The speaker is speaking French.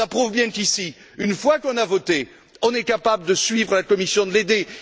Cela prouve bien qu'ici, une fois qu'on a voté, on est capable de suivre la Commission, de l'aider.